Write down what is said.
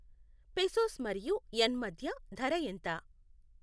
pesos మరియు yen మధ్య ధర ఎంత